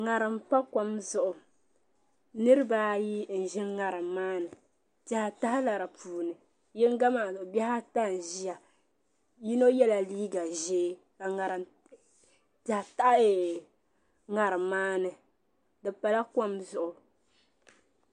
ŋarim n pa kom zuɣu niraba ayi n bɛ ŋarim maa ni piɛɣu tahala di puuni yinga maa mii bihi ata n ʒiya yino yɛla liiga ʒiɛ ka piɛɣu taha ŋarim maa ni di pala kom zuɣu